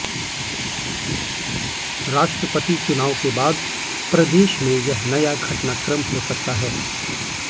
राष्ट्रपति चुनाव के बाद प्रदेश में यह नया घटनाक्रम हो सकता है